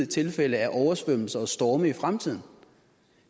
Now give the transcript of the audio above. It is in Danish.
tilfælde af oversvømmelser og storme i fremtiden